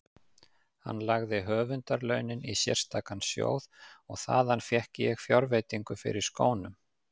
Hann lagði höfundarlaunin í sérstakan sjóð og þaðan fékk ég fjárveitingu fyrir skónum.